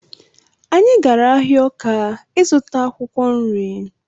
Anyị gara ahịa Ọka ịzụta akwụkwọ nri